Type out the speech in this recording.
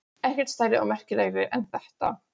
Ekkert stærri og merkilegri en þetta.